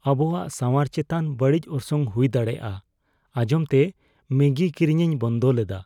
ᱟᱵᱚᱣᱟᱜ ᱥᱟᱶᱟᱨ ᱪᱮᱛᱟᱱ ᱵᱟᱹᱲᱤᱡ ᱚᱨᱥᱚᱝ ᱦᱩᱭ ᱫᱟᱲᱮᱭᱟᱜᱼᱟ ᱟᱸᱧᱡᱚᱢᱛᱮ ᱢᱮᱜᱤ ᱠᱤᱨᱤᱧᱤᱧ ᱵᱚᱱᱫᱚ ᱞᱮᱫᱟ ᱾